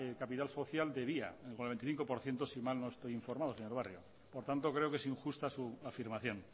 capital social de via con el veinticinco por ciento si mal no estoy informado señor barrio por tanto creo que es injusta su afirmación